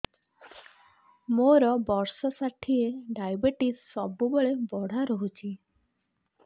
ମୋର ବର୍ଷ ଷାଠିଏ ଡାଏବେଟିସ ସବୁବେଳ ବଢ଼ା ରହୁଛି